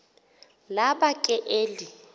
laba ke eli